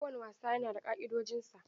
Kowane wasa yana da ka'idojinsa.